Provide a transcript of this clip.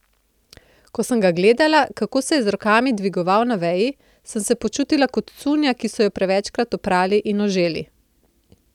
Ko sem ga gledala, kako se je z rokami dvigoval na veji, sem se počutila kot cunja, ki so jo prevečkrat oprali in oželi.